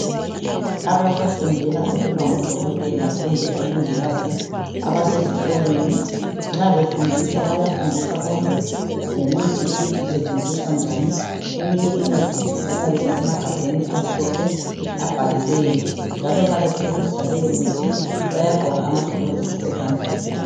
Abasafundela ukuba ngodokotela kumbe omongikazi abasesikolweni nxa befundiswa bayafundiswa konke lemithi ukuthi isetshenziswa njani. Eminye imithi iyabe isemagabheni amhlophe abhaliweyo njalo nxa besebenzisa leyomithi bayagqoka amagilovisi ezandleni.